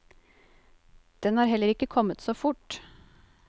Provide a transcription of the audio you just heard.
Den har heller ikke kommet så fort.